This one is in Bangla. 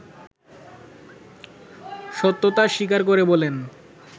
সত্যতা স্বীকার করে বলেন